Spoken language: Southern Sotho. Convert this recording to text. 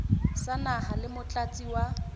sa naha le motlatsi wa